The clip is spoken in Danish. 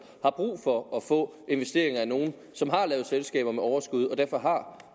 har brug for at få investeringer af nogle som har lavet selskaber med overskud og derfor har